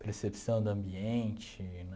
Percepção do ambiente